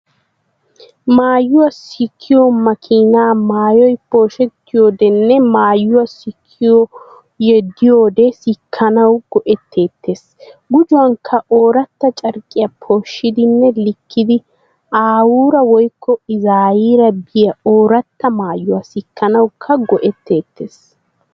Maayuwaa sikkiyo makiinaa maayoy pooshettiyoodenne maayuwaa sikoy yeddiyoode sikkanawu go'etteetees. Gujuwaanikka oorata carqqiya pooshshidinne likkidi aawuura woykko izaayira biya oorata maayuwaa sikkanawukka go'etteetees.